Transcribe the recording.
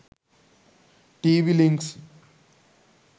tv links